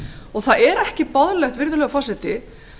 og það er ekki boðlegt virðulegur forseti